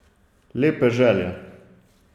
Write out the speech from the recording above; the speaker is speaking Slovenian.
Lepe želje.